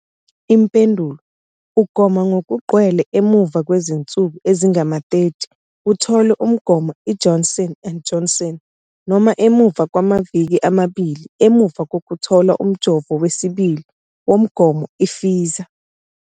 Impendulo- Ugoma ngokugcwele emuva kwezinsuku ezingama-30 uthole umgomo iJohnson and Johnson noma emuva kwamaviki amabili emuva kokuthola umjovo wesibili womgomo i-Pfizer.